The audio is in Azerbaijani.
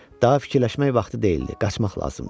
Daha fikirləşmək vaxtı deyildi, qaçmaq lazımdı.